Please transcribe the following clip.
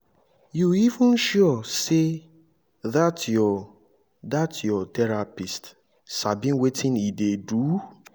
you even sure say dat your dat your therapist sabi wetin e dey do